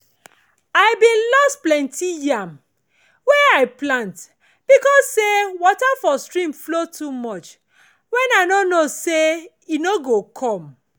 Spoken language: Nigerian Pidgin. i bin loss plenti yam wey i plant beacuse say water for stream flow too much when i no know say e no come